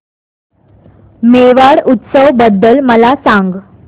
मेवाड उत्सव बद्दल मला सांग